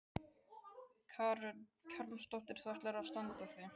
Karen Kjartansdóttir: Þú ætlar að standa þig?